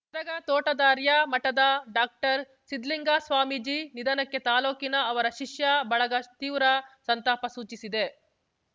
ಗದಗ ತೋಟದಾರ್ಯ ಮಠದ ಡಾಕ್ಟರ್ಸಿದ್ದಲಿಂಗ ಸ್ವಾಮೀಜಿ ನಿಧನಕ್ಕೆ ತಾಲೂಕಿನ ಅವರ ಶಿಷ್ಯ ಬಳಗ ತೀವ್ರ ಸಂತಾಪ ಸೂಚಿಸಿದೆ